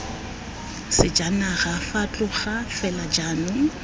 sejanaga fa tloga fela jaanong